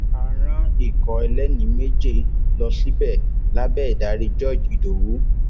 a rán ikọ ẹlẹni méje lọ síbẹ lábẹ ìdarí george ìdòwú